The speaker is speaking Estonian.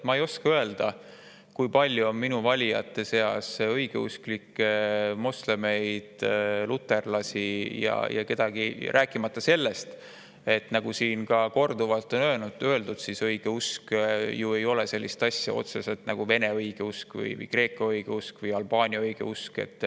Ma ei oska öelda, kui palju on minu valijate seas õigeusklikke, moslemeid, luterlasi või kedagi, rääkimata sellest, et nagu siin on juba korduvalt öeldud, ei ole otseselt sellist asja nagu Vene õigeusk või Kreeka õigeusk või Albaania õigeusk.